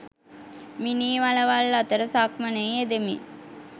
මිනී වළවල් අතර සක්මනේ යෙදෙමින්